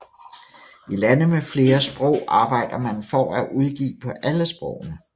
I lande med flere sprog arbejder man for at udgive på alle sprogene